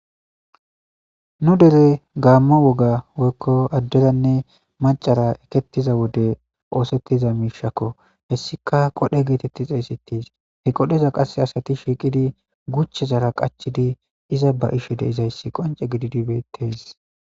nu dere gaamma woga woykko adderanne macara ekettiza wode oosettiza miishakko hessika qodhe geetetti xeesettis he qodheza qasse asati shiiqidi guche zara qachidi iza ba ishe deizayssi qonce gididibetes